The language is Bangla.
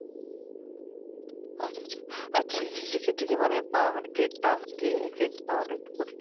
আচ্ছা আচ্ছা আর তিথিসের এর ক্ষেত্রে কি মানে মানে grade যা grade পাওয়াটা একটু কঠিন